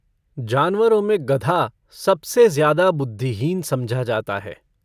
जानवरों में गधा सबसे ज्यादा बुध्दिहीन समझा जाता है।